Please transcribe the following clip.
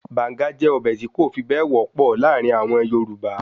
Banga jẹ́ ọbẹ̀ tí kò fi bẹ́ẹ̀ wọ́pọ̀ láàrin àwọn Yorùbá